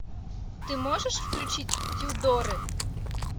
ты можешь включить тюдоры